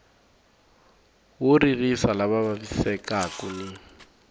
wo ririsa lava vavisekaku ni